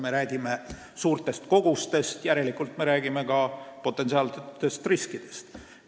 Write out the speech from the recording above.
Me räägime suurtest kogustest, järelikult me räägime ka potentsiaalsetest riskidest.